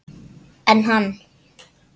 En hann?